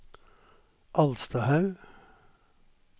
Alstahaug